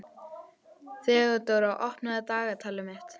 Þeódóra, opnaðu dagatalið mitt.